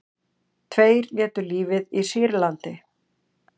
Tveir létu lífið í Sýrlandi